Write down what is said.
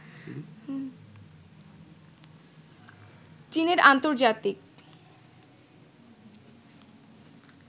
চীনের আন্তর্জাতিক